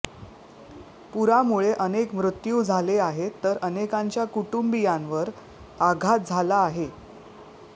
पुरामुळे अनेक मृत्यू झाले आहेत तर अनेकांच्या कुटुंबीयांवर आघात झाला आहे